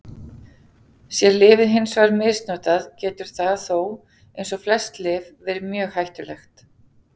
Sé lyfið hins vegar misnotað getur það þó, eins og flest lyf, verið mjög hættulegt.